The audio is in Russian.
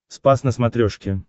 спас на смотрешке